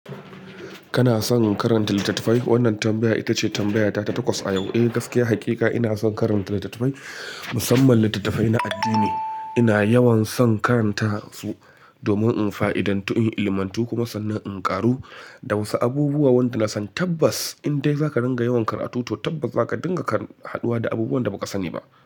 Kana, son karanta littattafai? Wannan tambaya ita ce tambaya ta takwas a yau. Eh, gaskiya hakika ina son karanta littattafai, musamman littattafai na addini. Ina yawan son karanta su, domin in fa'idantu, in ilimantu, kuma sannan in ƙaru da wasu abubuwa waɗanda na san Tabbas, in dai zaka ringa yawan karatu, to tabbas zaka dinga haduwa da abubuwan da ba ka sani ba.